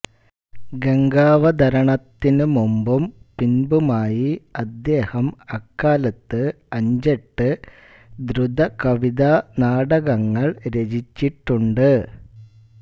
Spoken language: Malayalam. ഗംഗാവതരണാത്തിനു മുമ്പും പിൻപുമായി അദ്ദേഹം അക്കാലത്തു് അഞ്ചെട്ടു ദ്രുതകവിതാനാടകങ്ങൾ രചിച്ചിട്ടുണ്ടു്